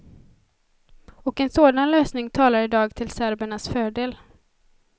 Och en sådan lösning talar idag till serbernas fördel.